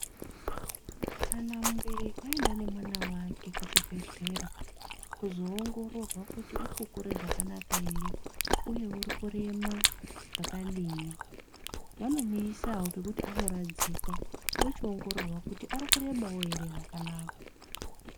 Kana mubereki aenda nemwana vake kuchibhedhleya kuzoongororwa kuti uri kukure zvakanaka ere, uye urikurema zvakadini. Vanomuisa pekuti anoradzikwa ochiongororwa kuti arikurebavo ere zvakanaka.